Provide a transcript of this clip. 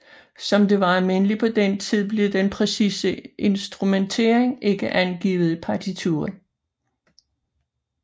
Som det var almindeligt på den tid blev den præcise instrumentering ikke angivet i partituret